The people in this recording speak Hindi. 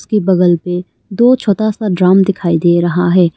के बगल पे दो छोटा सा ड्रम दिखाई दे रहा है।